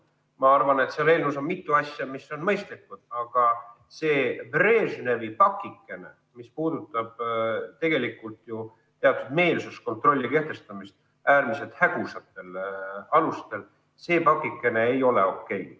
Ma arvan, et selles eelnõus on mitu asja, mis on mõistlikud, aga see Brežnevi pakikene, mis puudutab tegelikult ju teatud meelsuskontrolli kehtestamist äärmiselt hägusatel alustel, ei ole okei.